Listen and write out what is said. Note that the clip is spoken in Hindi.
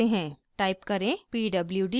टाइप करें pwd